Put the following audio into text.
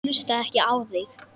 Ég hlusta ekki á þig.